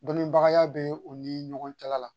Dɔnnibagaya bɛ u ni ɲɔgɔn cɛla la